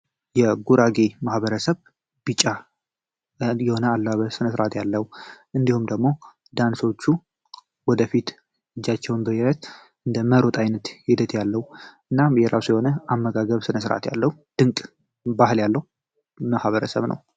የጉራጌ ማህበረሰብ ቢጫ የሆነ የአለባበስ ስነስርዓት ያለው እንዲሁም ደግሞ ዳንሶቹ እጃቸውን ወደፊት በደረት እንደመሮጥ አይነት ሂደት ያለው እናም የራሱ የሆነ አመጋገብ ስነስርዓት ያለው ድንቅ የሆነ ማህበረሰብ ነው።